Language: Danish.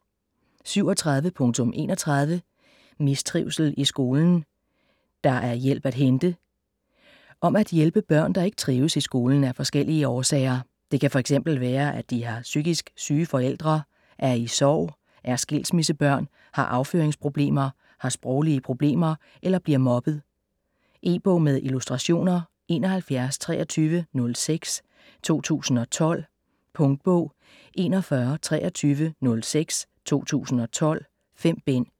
37.31 Mistrivsel i skolen: der er hjælp at hente Om at hjælpe børn der ikke trives i skolen af forskellige årsager. Det kan f.eks. være at de har psykisk syge forældre, er i sorg, er skilsmissebørn, har afføringsproblemer, har sproglige problemer eller bliver mobbet. E-bog med illustrationer 712306 2012. Punktbog 412306 2012. 5 bind.